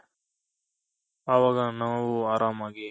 ಅವಾಗ ನಾವು ಅರಾಮಾಗಿ